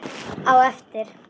Á eftir.